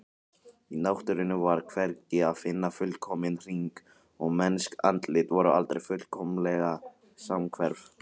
Í náttúrunni var hvergi að finna fullkominn hring og mennsk andlit voru aldrei fullkomlega samhverf.